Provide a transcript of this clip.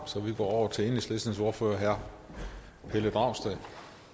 så vi går over til enhedslistens ordfører herre pelle dragsted